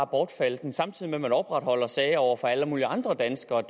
bortfalde samtidig med at man opretholder sager over for alle mulige andre danskere